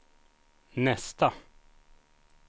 nästa